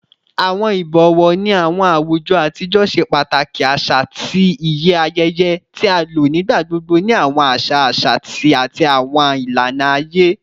Awọn ibọwọ ni awọn awujọ atijọ ṣe pataki aṣa ati iye ayẹyẹ, ti a lo nigbagbogbo ni awọn aṣa aṣa ati awọn ilana aye